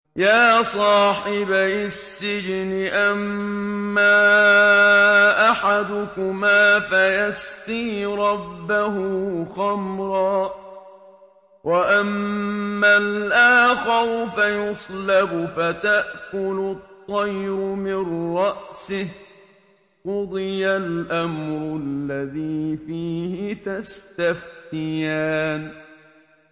يَا صَاحِبَيِ السِّجْنِ أَمَّا أَحَدُكُمَا فَيَسْقِي رَبَّهُ خَمْرًا ۖ وَأَمَّا الْآخَرُ فَيُصْلَبُ فَتَأْكُلُ الطَّيْرُ مِن رَّأْسِهِ ۚ قُضِيَ الْأَمْرُ الَّذِي فِيهِ تَسْتَفْتِيَانِ